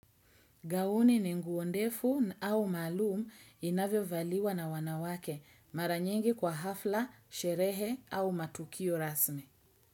Gauni ni nguo ndefu au maalum inavyo valiwa na wanawake mara nyingi kwa hafla, sherehe au matukio rasmi.